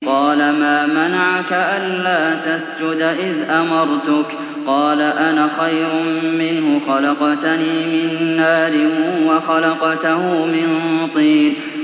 قَالَ مَا مَنَعَكَ أَلَّا تَسْجُدَ إِذْ أَمَرْتُكَ ۖ قَالَ أَنَا خَيْرٌ مِّنْهُ خَلَقْتَنِي مِن نَّارٍ وَخَلَقْتَهُ مِن طِينٍ